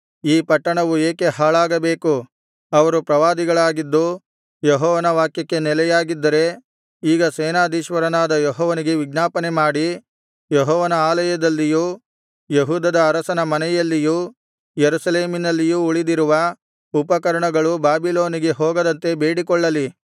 ಈ ಪಟ್ಟಣವು ಏಕೆ ಹಾಳಾಗಬೇಕು ಅವರು ಪ್ರವಾದಿಗಳಾಗಿದ್ದು ಯೆಹೋವನ ವಾಕ್ಯಕ್ಕೆ ನೆಲೆಯಾಗಿದ್ದರೆ ಈಗ ಸೇನಾಧೀಶ್ವರನಾದ ಯೆಹೋವನಿಗೆ ವಿಜ್ಞಾಪನೆ ಮಾಡಿ ಯೆಹೋವನ ಆಲಯದಲ್ಲಿಯೂ ಯೆಹೂದದ ಅರಸನ ಮನೆಯಲ್ಲಿಯೂ ಯೆರೂಸಲೇಮಿನಲ್ಲಿಯೂ ಉಳಿದಿರುವ ಉಪಕರಣಗಳು ಬಾಬಿಲೋನಿಗೆ ಹೋಗದಂತೆ ಬೇಡಿಕೊಳ್ಳಲಿ